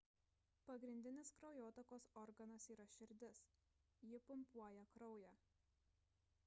pagrindinis kraujotakos organas yra širdis ji pumpuoja kraują